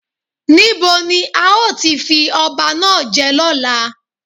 Ní bo ni a ó ti fi ọba náà jẹ lọ́la?